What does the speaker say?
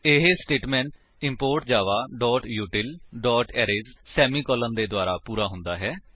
ਇਹ statement import Java util arrays semicolon ਦੇ ਦੁਆਰਾ ਪੂਰਾ ਹੁੰਦਾ ਹੈ